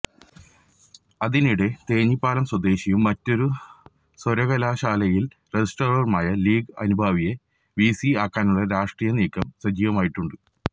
അതിനിടെ തേഞ്ഞിപ്പലം സ്വദേശിയും മറ്റൊരു സര്വകലാശാലയില് രജിസ്ട്രാറുമായ ലീഗ് അനുഭാവിയെ വിസി ആക്കാനുള്ള രാഷ്ട്രീയ നീക്കം സജീവമായിട്ടുണ്ട്